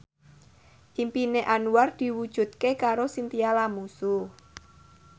impine Anwar diwujudke karo Chintya Lamusu